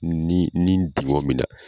Ni ni dugɔn min na.